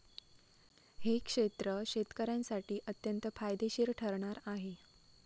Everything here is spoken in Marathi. हे क्षेत्र शेतकऱ्यांसाठी अत्यंत फायदेशीर ठरणार आहे.